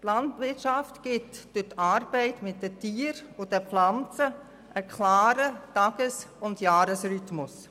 Die Landwirtschaft gibt durch die Arbeit mit den Tieren und den Pflanzen einen klaren Tages-und Jahresrhythmus.